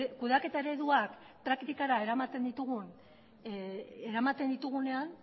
kudeaketa ereduak praktikara eramaten ditugunean